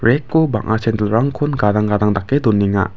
rack-o bang·a sendilrangkon gadang gadang dake donenga.